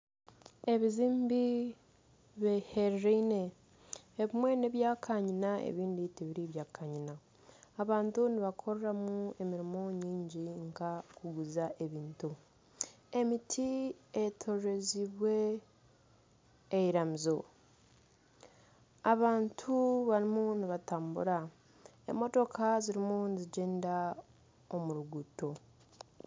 Ebizimbe bihereraine ebimwe nebya kanyina ebindi tibiri bya kanyina abantu nibakoreramu emirimo mingi nka okuguza ebintu, emiti eyetoraire eiramiizo abantu barimu nibatambira, emotooka zirimu nizigyenda omu ruguuto.